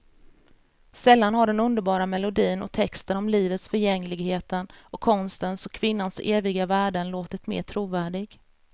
Sällan har den underbara melodin och texten om livets förgängligheten och konstens och kvinnans eviga värden låtit mera trovärdig.